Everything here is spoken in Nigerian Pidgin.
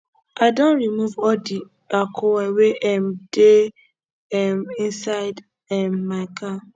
i don remove all the alcohol wey um dey um inside um my car